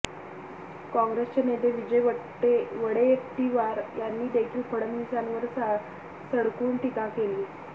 काँग्रेसचे नेते विजय वडेट्टीवार यांनी देखील फडणवीसांवर सडकून टीका केली